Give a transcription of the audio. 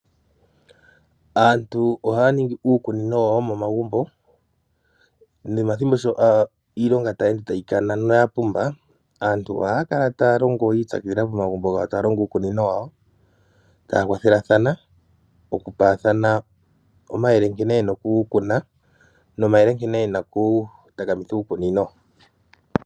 Aantu ohaya ningi uukunino wawo womomagumbo nomathimbo sho iilonga sho tayi ende tayi kana noyapumba aantu ohaya kala taya longo yiipyakidhila momagumbo gawo taya longo uukunino wawo taya kwathelathana okupaathana omayele nkene yena okukuna nomayele nkene yena okutakamitha uukunino.